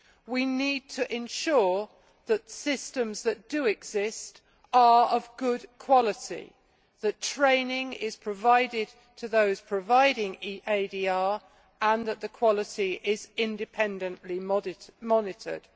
We need to ensure that the systems that do exist are of good quality, that training is provided to those providing ADR, and that the quality is independently monitored.